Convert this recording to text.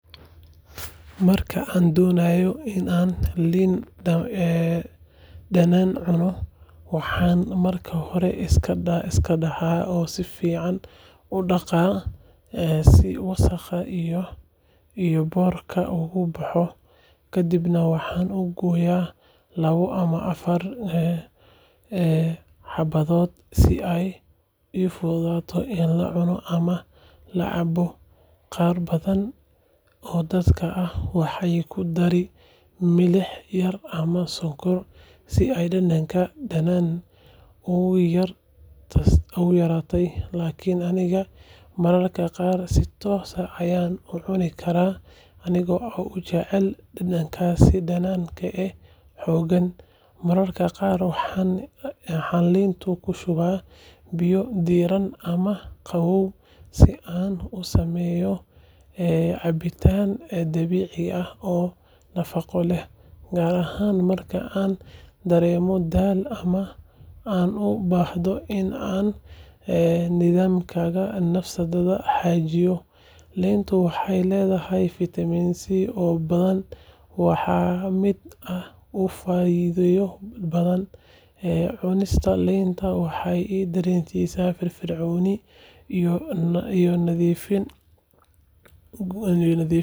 Marka aan doonayo in aan liin dhanaanta cuno, waxaan marka hore iska dhaxaa oo si fiican u dhaqaa si wasakhda iyo boodhka uga baxo. Kadibna waxaan u gooyaa laba ama afar xabbadood si ay u fududaato in la cuno ama la cabbo. Qaar badan oo dad ah waxay ku daraan milix yar ama sonkor si ay dhadhanka dhanaan u yaraystaan, laakiin aniga mararka qaar si toos ah ayaan u cuni karaa anigoo aad u jecel dhadhankaas dhanaan ee xooggan. Mararka qaar waxaan liinta ku shubaa biyo diirran ama qabow si aan u sameeyo cabitaan dabiici ah oo nafaqo leh, gaar ahaan marka aan dareemayo daal ama aan u baahdo in aan nidaamkayga dheefshiidka hagaajiyo. Liintu waxay leedahay fitamiin C oo badan, waana mid aad u faa’iido badan. Cunista liinta waxay i dareensiisaa firfircooni iyo nadiifin gudaha ah.